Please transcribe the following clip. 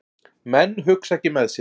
Menn hugsa ekki með sér